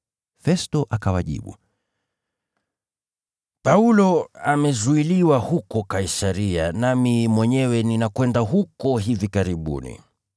Festo akawajibu, “Paulo amezuiliwa huko Kaisaria, nami mwenyewe ninakwenda huko hivi karibuni.